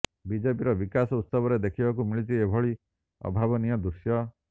ବିଜେପିର ବିକାଶ ଉତ୍ସବରେ ଦେଖିବାକୁ ମିଳିଛି ଏଭଳି ଅଭାବନୀୟ ଦୃଶ୍ୟ